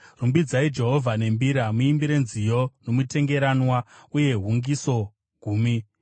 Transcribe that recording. Rumbidzai Jehovha nembira; muimbirei nziyo nomutengeranwa une hungiso gumi.